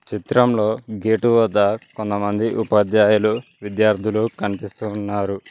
చిత్రంలో గేటువద్ద కొంతమంది ఉపాధ్యాయులు విద్యార్థులు కన్పిస్తూ ఉన్నారు.